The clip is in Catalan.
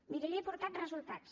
miri li he portat resultats